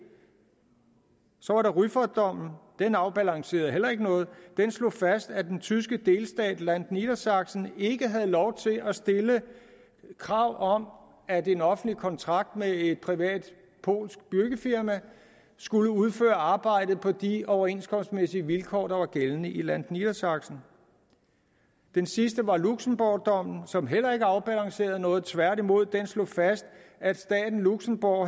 så var der rüffertdommen den afbalancerede heller ikke noget den slog fast at den tyske delstat niedersachsen ikke havde lov til at stille krav om at en offentlig kontrakt med et privat polsk byggefirma skulle udføre arbejdet på de overenskomstmæssige vilkår der var gældende i niedersachsen den sidste var luxembourgdommen som heller ikke afbalancerede noget tværtimod den slog fast at staten luxembourg